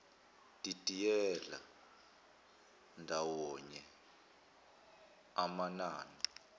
didiyela ndawonye amanani